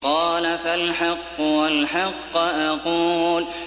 قَالَ فَالْحَقُّ وَالْحَقَّ أَقُولُ